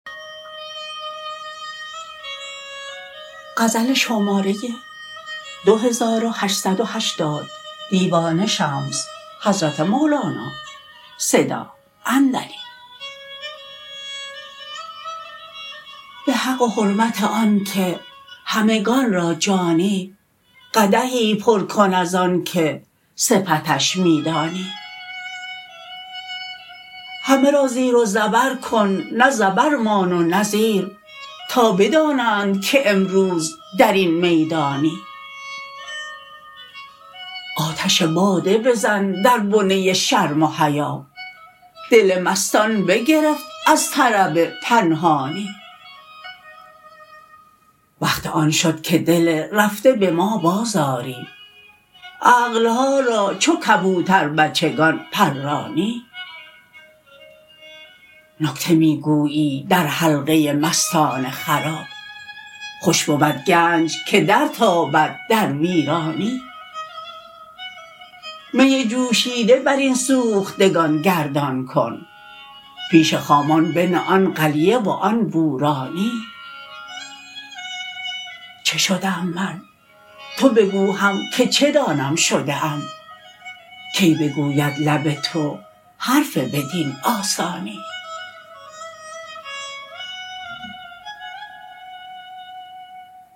به حق و حرمت آنکه همگان را جانی قدحی پر کن از آنکه صفتش می دانی همه را زیر و زبر کن نه زبر مان و نه زیر تا بدانند که امروز در این میدانی آتش باده بزن در بنه شرم و حیا دل مستان بگرفت از طرب پنهانی وقت آن شد که دل رفته به ما بازآری عقل ها را چو کبوتر بچگان پرانی نکته می گویی در حلقه مستان خراب خوش بود گنج که درتابد در ویرانی می جوشیده بر این سوختگان گردان کن پیش خامان بنه آن قلیه و آن بورانی چه شدم من تو بگو هم که چه دانم شده ام کی بگوید لب تو حرف بدین آسانی